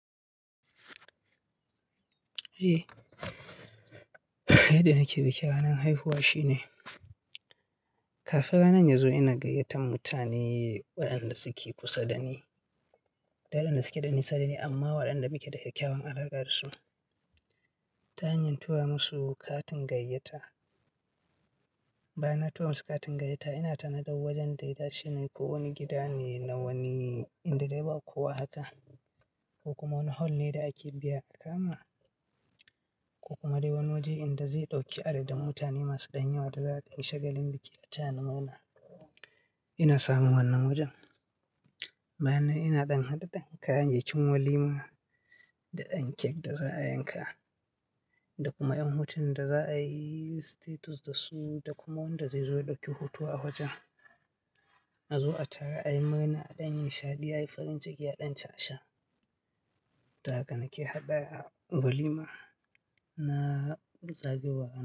Eh, yadda nake biki ranar haihuwa shine kafin ranar ya zo ina gayyatan mutane wayanda suke kusa da ni, tare da wadanda suke da nisa da ni amma waɗanda muke da kyawun alaƙa da su ta hanyar tura musu katin gayyata. Bayan na tura musu katin gayyata ina tanadar wajen da ya dace ne ko wani gida ne na wani in da dai ba kowa haka ko kuma wani hol ne da ake biya a kama ko kuma dai wani waje inda zai ɗauki adadin mutane masu dan yawa da za ai dan shagalin biki a taya ni murna, ina samun wannan wajen. Bayan nan ina ɗan haɗa dan kayayyakin walima da ɗan cake da za a yanka da kuma ƴan hotunan da za a yi status da su da kuma wanda zai zo ya ɗauki hoto a wajen. A zo a taru a yi murna a ɗan yi nishaɗi, a yi farin ciki a ɗan ci a sha. Ta haka nake haɗa walima na zagayowar.